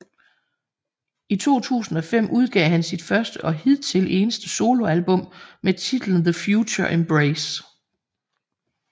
I 2005 udgav han sit første og hidtil eneste soloalbum med titlen TheFutureEmbrace